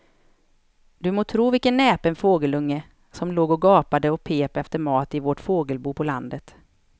Du må tro vilken näpen fågelunge som låg och gapade och pep efter mat i vårt fågelbo på landet.